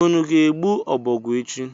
Unu ga-egbu ọbọgwụ echi?